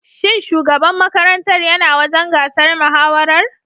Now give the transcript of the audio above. Shin shugaban makarantar ya na wajen gasar mahawarar?